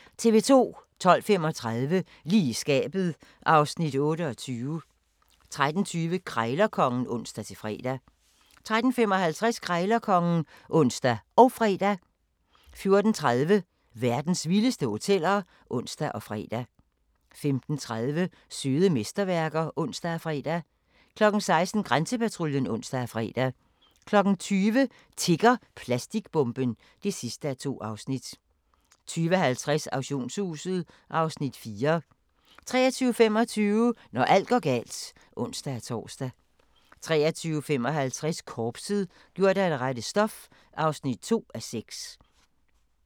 12:35: Lige i skabet (Afs. 28) 13:20: Krejlerkongen (ons-fre) 13:55: Krejlerkongen (ons og fre) 14:30: Verdens vildeste hoteller (ons og fre) 15:30: Søde mesterværker (ons og fre) 16:00: Grænsepatruljen (ons og fre) 20:00: Tikker plastikbomben? (2:2) 20:50: Auktionshuset (Afs. 4) 23:25: Når alt går galt (ons-tor) 23:55: Korpset - gjort af det rette stof (2:6)